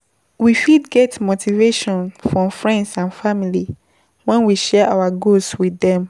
We fit get motivation from friends and family when we share our goals with them